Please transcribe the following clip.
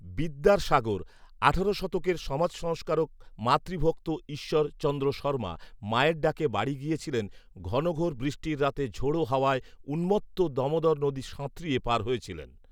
বিদ্যার সাগর, আঠারো শতকের সমাজসংস্কারক, মাতৃভক্তঈশ্বর চন্দ্র শর্মা মায়ের ডাকে বাড়ি গিয়েছিলেন ঘনঘোর বৃষ্টির রাতে ঝড়ো হাওয়ায় উন্মত্ত দমোদর নদী সাঁতরিয়ে পার হয়েছিলেন